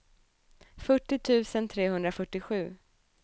fyrtio tusen trehundrafyrtiosju